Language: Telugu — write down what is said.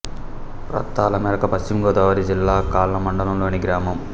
ప్రతాళ్ళమెరక పశ్చిమ గోదావరి జిల్లా కాళ్ళ మండలం లోని గ్రామం